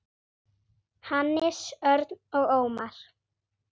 Hannes, Örn og Ómar.